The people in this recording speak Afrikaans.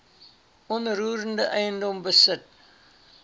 onroerende eiendom besit